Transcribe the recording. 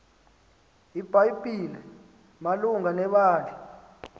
ibhayibhile malunga nebandla